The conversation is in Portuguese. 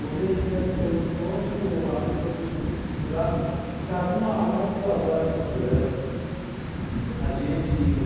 Você ia brincar de esconde-esconde e o a pessoa que te procurar ficava uma, mais de duas horas procurando. A gente